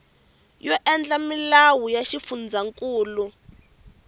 yo endla milawu ya xifundzankulu